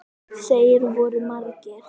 Þeir voru margir.